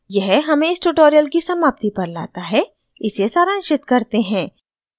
यह हमें इस ट्यूटोरियल की समाप्ति पर लाता है इसे सारांशित करते हैं